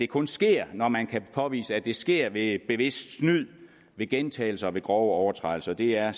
kun sker når man kan påvise at det sker ved bevidst snyd ved gentagelser og ved grove overtrædelser det er